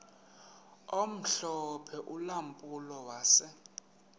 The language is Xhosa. omhlophe ulampulo wase